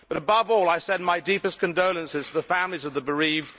Above all, I send my deepest condolences to the families of the bereaved.